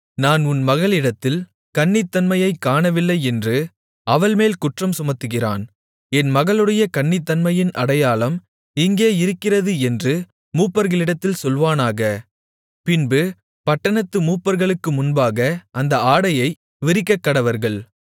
நான் உன் மகளிடத்தில் கன்னித்தன்மையைக் காணவில்லையென்று அவள்மேல் குற்றம் சுமத்துகிறான் என் மகளுடைய கன்னித்தன்மையின் அடையாளம் இங்கே இருக்கிறது என்று மூப்பர்களிடத்தில் சொல்வானாக பின்பு பட்டணத்து மூப்பர்களுக்கு முன்பாக அந்த ஆடையை விரிக்கக்கடவர்கள்